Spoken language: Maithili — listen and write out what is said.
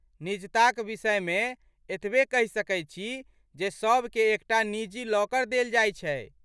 निजता क विषयमे एतबे कहि सकैत छी जे सभके एकटा निजी लॉकर देल जाइत छै।